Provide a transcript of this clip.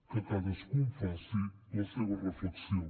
que cadascú en faci la seva reflexió